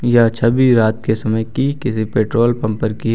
यह छवि रात के समय की किसी पेट्रोल पंपर पर की है।